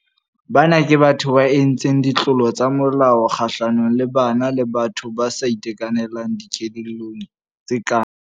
Bana ke batho ba entseng ditlolo tsa molao kgahlanong le bana le batho ba sa itekanelang dikelellong, tse kang.